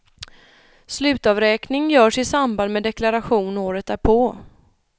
Slutavräkning görs i samband med deklaration året därpå.